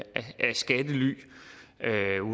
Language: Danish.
skattely